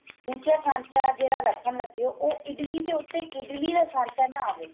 ਦੂਜਾ ਸਾਂਚਾ ਜਿਹੜਾ ਰੱਖਣ ਲੱਗੇ ਓ ਉਹ ਇਡਲੀ ਦੇ ਉੱਤੇ ਇਡਲੀ ਦਾ ਸਾਂਚਾ ਨਾ ਆਵੇ